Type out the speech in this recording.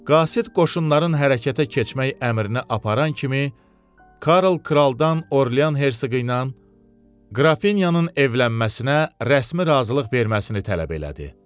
Qasid qoşunların hərəkətə keçmək əmrini aparan kimi Karl kraldan Orlean Hersoqu ilə Qrafinya de Krunun evlənməsinə rəsmi razılıq verməsini tələb elədi.